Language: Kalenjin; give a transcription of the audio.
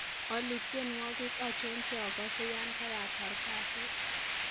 olly tienywogik achon cheogoze yan karatar kasit